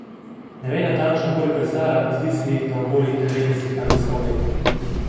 Ne ve natančno, koliko je stara, zdi se ji, da okoli devetdeset ali sto let.